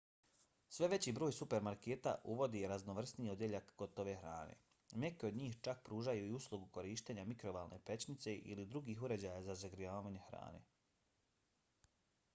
sve veći broj supermarketa uvodi raznovrsniji odjeljak gotove hrane. neki od njih čak pružaju i uslugu korištenja mikrovalne pećnice ili drugih uređaja za zagrijavanje hrane